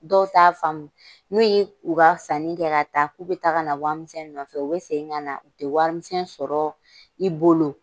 Dɔw t'a faamu n'u ye u ka sanni kɛ ta k'u bɛ taa ka na warimisɛn nɔfɛ u tɛ warimisɛn sɔrɔ i bolo.